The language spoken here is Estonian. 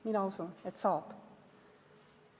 Mina usun, et saab.